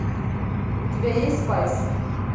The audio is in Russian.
у тебя есть спайс